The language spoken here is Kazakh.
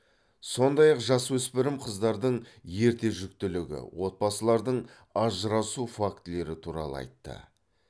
сондай ақ жасөспірім қыздардың ерте жүктілігі отбасылардың ажырасу фактілері туралы айтты